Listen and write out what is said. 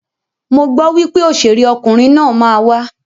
Mo gbọ wípé òṣèré ọkunrin naa ma wa.